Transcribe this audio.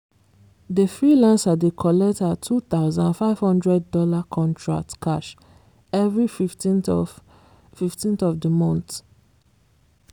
the freelancer dey collect her $2500 contract cash every 15th of 15th of the month.